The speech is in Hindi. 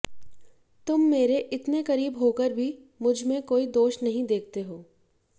तुम मेरे इतने करीब होकर भी मुझ में कोई दोष नहीं देखते हो